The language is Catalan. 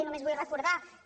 i només vull recordar que